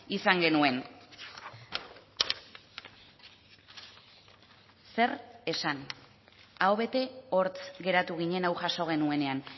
izan genuen zer esan aho bete hortz geratu ginen hau jaso genuenean